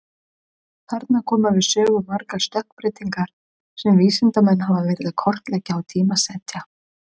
Þarna koma við sögu margar stökkbreytingar sem vísindamenn hafa verið að kortleggja og tímasetja.